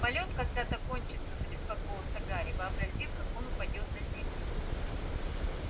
полёт когда-то кончится забеспокоился гарри вообразив как он упадёт на землю